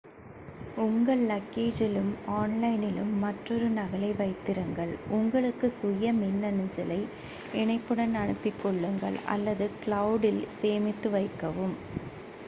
"உங்கள் லக்கேஜிலும் ஆன்லைனிலும் மற்றொரு நகலை வைத்திருங்கள் உங்களுக்கு சுய மின்னஞ்சலை இணைப்புடன் அனுப்பிக்கொள்ளுங்கள் அல்லது "க்ளௌட்" ல் சேமித்து வைக்கவும்.